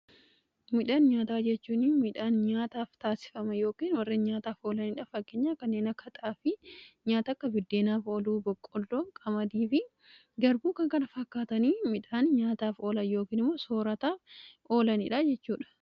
Midhaan nyaataa jechuun midhaan nyaataaf taasifama yookin warrin nyaataaf oolaniidhaa. Fakkeenyaaf kanneen akka xaafii nyaataa akka biddeenaaf oluu, boqqolloo, qamadi fi garbuun fakkaatanii midhaan nyaataaf oola yookiin immoo soorataa oolaniidhaa jechuudha.